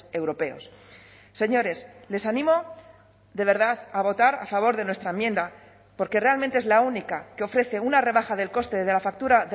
europeos señores les animo de verdad a votar a favor de nuestra enmienda porque realmente es la única que ofrece una rebaja del coste de la factura